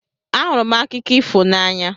Ahụrụ m akụkọ ifo n'anya